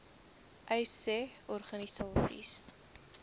uys sê organisasies